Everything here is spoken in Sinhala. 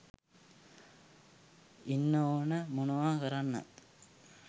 ඉන්න ඕන මොනව‍ කරන්නත්.